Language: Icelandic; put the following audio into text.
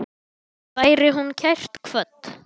Veri hún kært kvödd.